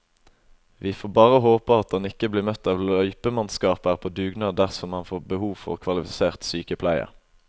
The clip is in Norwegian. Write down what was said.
Vi får bare håpe at han ikke blir møtt av løypemannskaper på dugnad dersom han får behov for kvalifisert sykepleie.